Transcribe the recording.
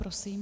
Prosím.